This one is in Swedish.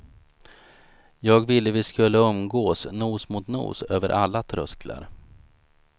Jag ville vi skulle umgås nos mot nos över alla trösklar.